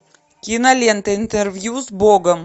кинолента интервью с богом